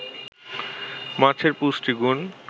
মাছের পুষ্টিগুণ